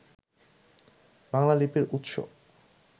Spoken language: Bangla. বাংলা লিপির উৎস